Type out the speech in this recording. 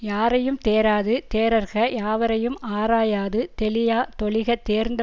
யாரையும் தேராது தேறற்க யாவரையும் ஆராயாது தெளியா தொழிக தேர்ந்த